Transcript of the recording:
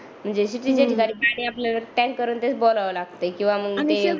म्हणजे पाणी आपल्याला टँकर मधूनच भाराव लागते किंवा मग ते